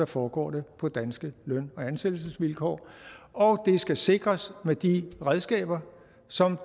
foregår det på danske løn og ansættelsesvilkår og det skal sikres med de redskaber som